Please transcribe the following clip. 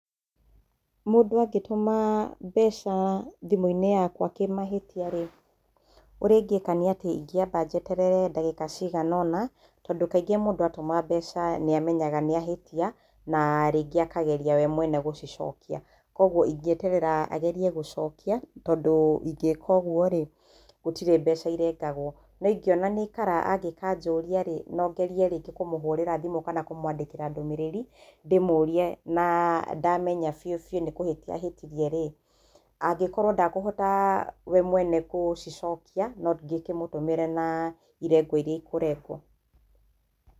Mũndũ angĩtũma mbeca thimũ-inĩ yakwa kĩmahĩtia rĩ, ũrĩa ingĩĩka nĩ atĩ ingĩamba njeterere ndagĩka cigana ũna, tondũ kaingĩ mũndũ atũma mbeca nĩ amenyaga nĩ ahĩtia, na rĩngĩ akageria we mwene gũcicokia. Kwoguo ingĩeterera agerie gũcokia, tondũ ingĩĩka ũguo rĩ, gũtirĩ mbeca irengagwo. No ingĩona nĩ aikara angĩkanjũria rĩ, no ngerie rĩngĩ kũmũhũrĩra thimũ kana kũmũandĩkĩra ndũmĩrĩri ndĩmũrie, na, ndamenya biũbiũ nĩ kũhĩtia ahĩtirie rĩ, angĩkorwo ndakũhota we mwene kũcicokia no ngĩkĩmũtũmĩre na irengwo iria ikũrengwo.